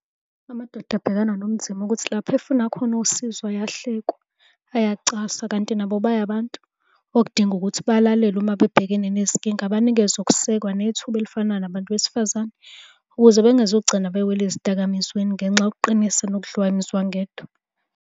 Amadoda abhekana nobunzima ukuthi lapho efuna khona usizo ayahlekwa, ayacaswa kanti nabo baya abantu okudinga ukuthi balalelwe uma bebhekene nezinkinga banikezwe ukusekwa nethuba elifana nabantu besifazane, ukuze bengezukugcina bewela ezidakamizweni ngenxa yokuqinisa nokudliwa umzwangedwa.